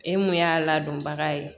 E mun y'a ladonbaga ye